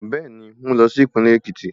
Bẹ́ẹ̀ni, mú lọ sí Ìpínlẹ̀ Èkìtì